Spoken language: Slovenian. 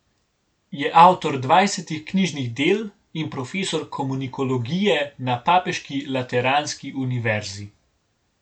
Je avtor dvajsetih knjižnih del in profesor komunikologije na papeški lateranski univerzi.